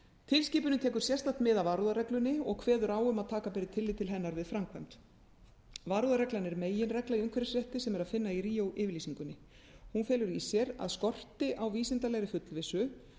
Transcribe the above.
tilskipunin tekur sérstakt mið af varúðarreglunni og kveður á um að taka beri tillit til hennar við framkvæmd varúðarreglan er meginregla í umhverfisrétti sem er í að líka meðal annars að finna í ríó yfirlýsingunni hún felur í sér að skorti á vísindalegri fullvissu